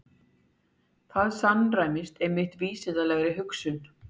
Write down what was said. Þetta samræmist einmitt vísindalegri hugsun.